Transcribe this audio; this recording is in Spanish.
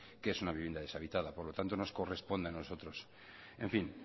qué es una vivienda deshabitada por lo tanto nos corresponde a nosotros en fin